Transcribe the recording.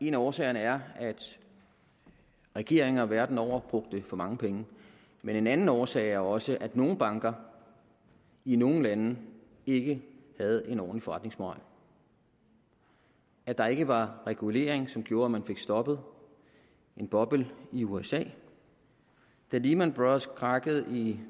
en af årsagerne er at regeringer verden over brugte for mange penge men en anden årsag er også at nogle banker i nogle lande ikke havde en ordentlig forretningsmoral at der ikke var regulering som gjorde at man fik stoppet en boble i usa da lehman brothers krakkede i